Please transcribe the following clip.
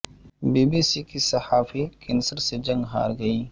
be B C کی صحافی cancer سے جنگ ہار گئیں